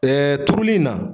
turuli in na